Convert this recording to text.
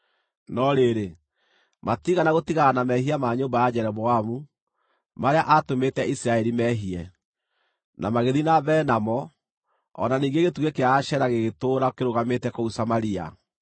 No rĩrĩ, matiigana gũtigana na mehia ma nyũmba ya Jeroboamu, marĩa aatũmĩte Isiraeli meehie; na magĩthiĩ na mbere namo, o na ningĩ gĩtugĩ kĩa Ashera gĩgĩtũũra kĩrũgamĩte kũu Samaria.